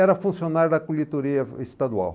Era funcionário da coletoria estadual.